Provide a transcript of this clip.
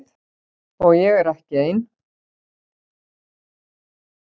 Og ég er ekki ein.